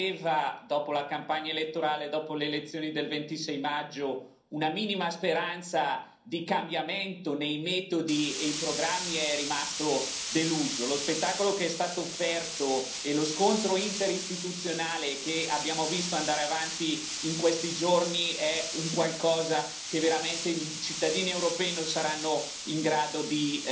Chi aveva, dopo la campagna elettorale, dopo le elezioni del 26 maggio, una minima speranza di cambiamento nei metodi e nei programmi è rimasto deluso. Lo spettacolo che è stato offerto e lo scontro interistituzionale che abbiamo visto andare avanti in questi giorni è un qualcosa che veramente i cittadini europei non saranno in grado di